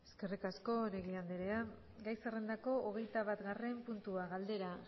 eskerrik asko oregi anderea gai zerrendako hogeitabatgarren puntua galdera